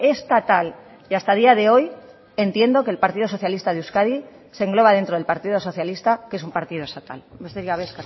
estatal y hasta día de hoy entiendo que el partido socialista de euskadi se engloba dentro del partido socialista que es un partido estatal besterik gabe